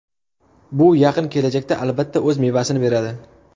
Bu yaqin kelajakda albatta o‘z mevasini beradi.